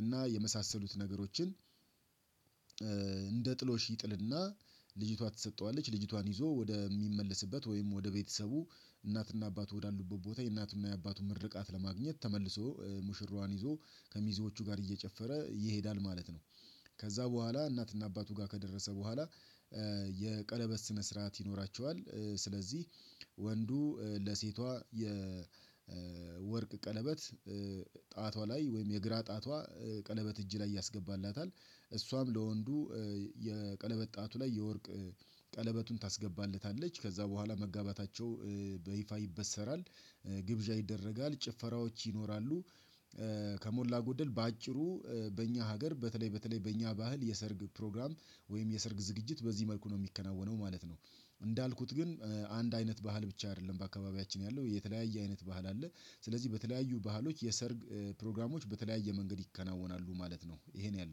እና የመሳሰሉት ነገሮችን እንደ ጥሎሽ ይጥልና ልጅቷ ትሰጠዋለች ልጅቷን ይዞ ወደሚመለስበት ወይም ወደ ቤተሰቡ እናትና አባቱ ወዳሉበት ቦታ የእናትና የአባቱ ምርቃት ለማግኘት ተመልሶ ሙሽሯን ይዞ ከሚዜዎቹ ጋር እየጨፈረ ይሄዳል ማለት ነው። ከዛ በኋላ እናትና አባቱ ጋር ከደረሰ በኋላ ስነ ስርዓት ይኖራቸዋል። ስለዚህ ወንዱ ለሴቷ የወርቅ ቀለበት ጣቷ ላይ ወይም የግራ ጣቷ ቀለበት እጅ ላይ ያስገባላታል እሷም ለወንዱ የቀለበት ጣቱ ላይ የወርቅ ቀለበቱን ታስገባለታለች ከዛ በኋላ መጋባታቸው በይፋ ይበሰራል። ግብዣ ይደረጋል ጭፈራዎች ይኖራሉ። ከሞላ ጎደል በአጭሩ በእኛ ሀገር በተለይ በተለይ በእኛ ባህል የሰርግ ፕሮግራም ወይም የሰርግ ዝግጅት በዚህ መልኩ ነው የሚከናወነው ማለት ነው። እንዳልኩት ግን አንድ አይነት ባህል ብቻ አይደለም በአካባቢያችን ያለው የተለያየ አይነት ባህል አለ። ስ ስለዚህ በተለያዩ ባህሎች የሰርግ ፕሮግራሞች በተለያየ መንገድ ይከናወናሉ ማለት ነው። ይሄን ያለው